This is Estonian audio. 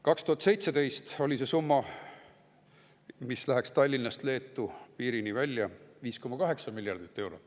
2017. aastal oli see summa, mis läheks Tallinnast Leedu piirini välja, 5,8 miljardit eurot.